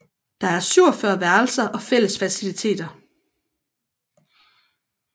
Der er 47 værelser og fælles faciliteter